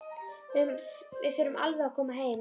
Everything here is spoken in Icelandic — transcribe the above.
Við förum alveg að koma heim.